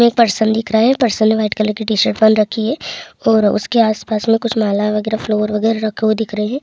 एक पर्सन लिख रहे हैं पर्सन ने वाइट कलर की टी-शर्ट पहन रखी है और उसके आस-पास में कुछ माला वगेरह फ्लावर रखे हुए दिख रहे हैं।